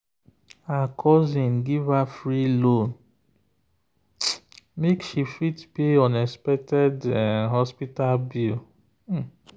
her cousin give her free loan make she fit pay unexpected hospital bill.